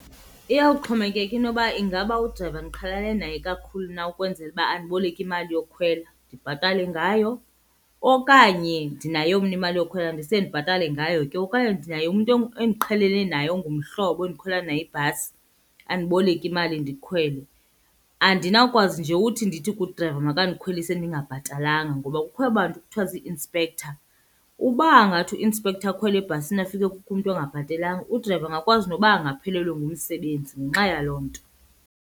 Iyawuxhomekeka inoba ingaba udrayiva ndiqhelane naye kakhulu na ukwenzela uba andiboleke imali yokukhwela ndibhatale ngayo okanye ndinayo mna imali yokukhwela ndise ndibhatale ngayo ke. Okanye ndinaye umntu endiqheleneyo naye ongumhlobo endikhwela naye ibhasi andiboleke imali ndikhwele. Andinawukwazi nje uthi ndithi kudrayiva makandikhwelise ndingabhatalanga ngoba kukho aba bantu kuthiwa zii-inspector. Uba angathi u-inspector akhwele ebhasini afike kukho umntu ongabhatelanga, udrayiva angakwazi noba angaphelelwe ngumsebenzi ngenxa yaloo nto.